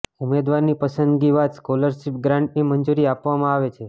ઉમેદવારની પસંદગી બાદ સ્કોલરશિપ ગ્રાન્ટની મંજૂરી આપવામાં આવે છે